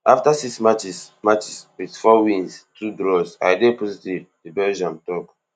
after six matches matches wit four wins two draws i dey positive di Belgium draw